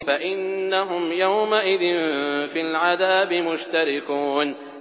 فَإِنَّهُمْ يَوْمَئِذٍ فِي الْعَذَابِ مُشْتَرِكُونَ